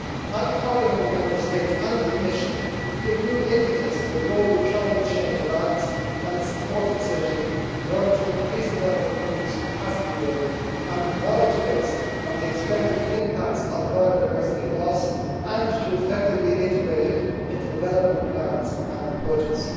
I am calling on the Member States and the Commission to give new impetus to the global climate change alliance and its support facility in order to increase developing countries' capacity building and knowledge base on the expected impacts of biodiversity loss and to effectively integrate it into development plans and budgets.